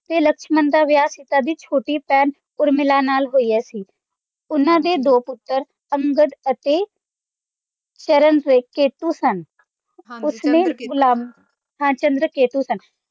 ਤੇ ਲਕਸ਼ਮਨ ਦਾ ਵਿਆਹ ਸੀਤਾ ਦੀ ਛੋਟੀ ਭੈਣ ਉਰਮਿਲਾ ਨਾਲ ਹੋਇਆ ਸੀ, ਉਹਨਾਂ ਦੇ ਦੋ ਪੁੱਤਰ ਅੰਗਦ ਅਤੇ ਚੰਰਨਕੇਤੁ ਸਨ ਹਾਂ ਚੰਦਰਕੇਤੁ ਸਨ।